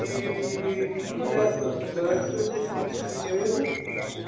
E numa dessas mudanças eu fui para cultura inglesa, né?